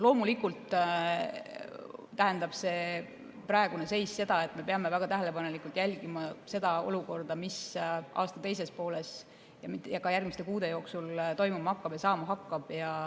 Loomulikult tähendab praegune seis seda, et me peame väga tähelepanelikult jälgima seda olukorda, mis aasta teises pooles ja ka järgmiste kuude jooksul toimuma ja saama hakkab.